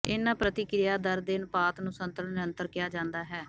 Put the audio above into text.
ਇਹਨਾਂ ਪ੍ਰਤਿਕਿਰਿਆ ਦਰ ਦੇ ਅਨੁਪਾਤ ਨੂੰ ਸੰਤੁਲਨ ਨਿਰੰਤਰ ਕਿਹਾ ਜਾਂਦਾ ਹੈ